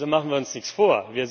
Also Machen wir uns nichts vor!